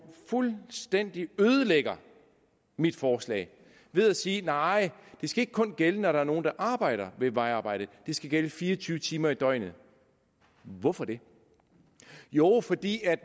fuldstændig ødelægger mit forslag ved at sige nej det skal ikke kun gælde når der er nogle der arbejder ved at vejarbejde det skal gælde fire og tyve timer i døgnet hvorfor det jo fordi